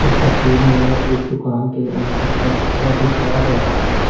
तस्वीर में एक दुकान के अंदर का हिस्सा दिखाया गया है।